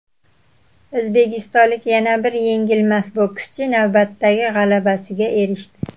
O‘zbekistonlik yana bir yengilmas bokschi navbatdagi g‘alabasiga erishdi.